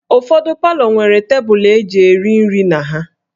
Ụfọdụ palọ nwere tebụlụ e ji eri nri na ha